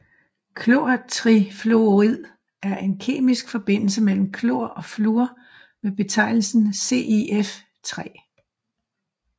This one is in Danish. Klortrifluorid er en kemisk forbindelse mellem klor og fluor med betegnelsen ClF3